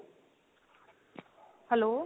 hello.